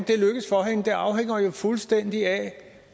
det afhænger jo fuldstændig af